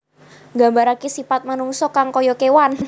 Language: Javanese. Nggambaraké sipat manungsa kang kaya kéwan